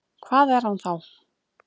Hvað er hann þá?